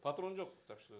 патрон жоқ так что